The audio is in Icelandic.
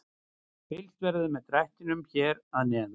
Fylgst verður með drættinum hér að neðan.